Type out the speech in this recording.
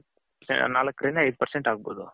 ನಾಲಕ್ ರಿಂದ ಐದ percent ಅಗ್ಬೌದು .